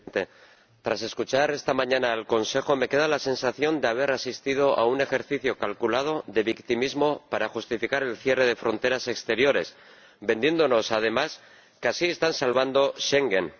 Señor Presidente, tras escuchar esta mañana al Consejo me queda la sensación de haber asistido a un ejercicio calculado de victimismo para justificar el cierre de fronteras exteriores, vendiéndonos, además, que así están salvando Schengen.